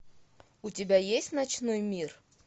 у тебя есть ночной мир